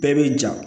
Bɛɛ bɛ ja